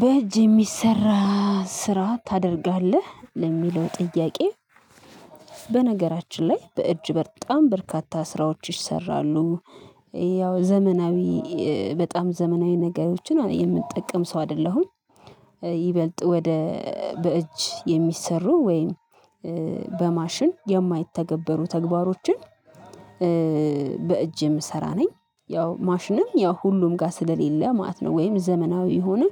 በእጅ የሚሰራ ስራ ታደርጋለህ ለሚለው ጥያቄ? በነገራችን ላይ በእጅ በጣም በርካታ ስራዎች ይሰራሉ። ያው ዘመናዊ በጣም ዘመናዊ ነገሮችን የምጠቀም ሰው አይደለሁም። ይበልጥ ወደ በእጅ የሚሰሩ ወይም በማሽን የማይተገበሩ ተግባሮችን። በእጅ የምሰራ ነኝ ያው ማሽንም ያው ሁሉም ጋር ስለሌለ ማለት ነው። ወይም ዘመናዊ የሆነ